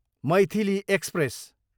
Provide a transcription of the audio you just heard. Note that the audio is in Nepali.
मैथिली एक्सप्रेस